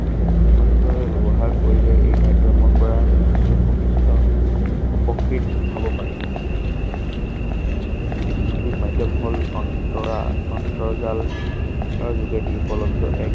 সথিকভাৱে ব্যৱহাৰ কৰিলে এই মাধ্যমৰ পৰা যথেষ্ট উপকৃষ্ট উপকৃত হব পাৰি। সামাজিক মাধ্যম হল অন্তৰা অন্তঃজাল যোগেদি উপলদ্ধ এক